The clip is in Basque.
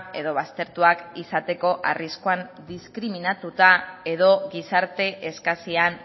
edo baztertuak izateko arriskuan diskriminatuta edo gizarte eskasian